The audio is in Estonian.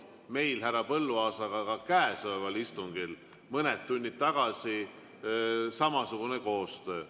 Meil härra Põlluaasaga oli ka käesoleval istungil mõned tunnid tagasi samasugune koostöö.